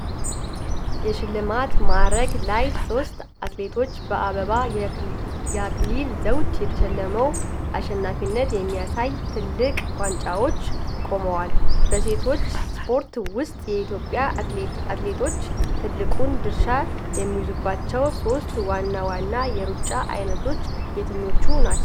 የሽልማት ማዕረግ ላይ ሶስት አትሌቶች በአበባ የአክሊል ዘውድ ተሸልመው አሸናፊነትን በሚያሳዩ ትልልቅ ዋንጫዎች ቆመዋል። በሴቶች ስፖርት ውስጥ የኢትዮጵያ አትሌቶች ትልቁን ድርሻ የሚይዙባቸው ሦስት ዋና ዋና የሩጫ ዓይነቶች የትኞቹ ናቸው?